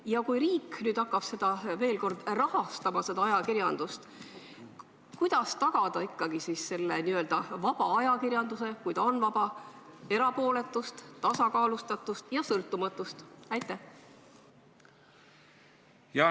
Ja kui riik hakkab veel kord rahastama ajakirjandust, siis kuidas tagada ikkagi n-ö vaba ajakirjanduse – kui ta on vaba – erapooletust, tasakaalustatust ja sõltumatust?